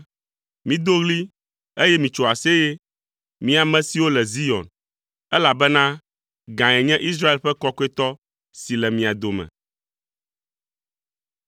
Mido ɣli, eye mitso aseye, mi ame siwo le Zion, elabena gãe nye Israel ƒe Kɔkɔetɔ si le mia dome.”